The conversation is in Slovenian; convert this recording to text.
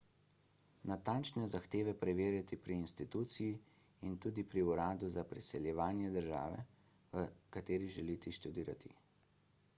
natančne zahteve preverite pri instituciji in tudi pri uradu za priseljevanje države v kateri želite študirati